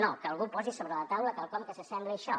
no que algú posi sobre la taula quelcom que s’assembli a això